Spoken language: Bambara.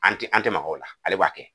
An tɛ an tɛ maga o la ale b'a kɛ.